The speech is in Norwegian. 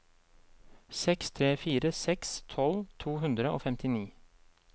seks tre fire seks tolv to hundre og femtini